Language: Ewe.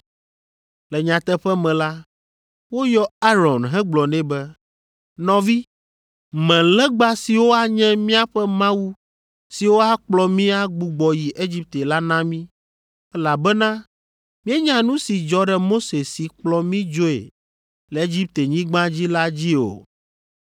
Le nyateƒe me la, woyɔ Aron hegblɔ nɛ be, ‘Nɔvi, me legba siwo anye míaƒe mawu siwo akplɔ mí agbugbɔ yi Egipte la na mí, elabena míenya nu si dzɔ ɖe Mose si kplɔ mí dzoe le Egiptenyigba dzi la dzi o.’